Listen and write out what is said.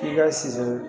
I ka si